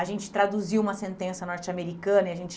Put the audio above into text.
A gente traduziu uma sentença norte-americana e a gente